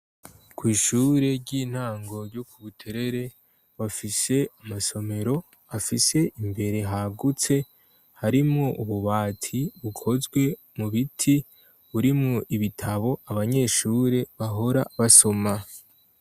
Kw'ishure ry'intango ryo ku buterere bafise amasomero afise imbere hagutse harimwo ububati bukozwe mu biti burimwo ibitabo abanyeshure bahora basoma.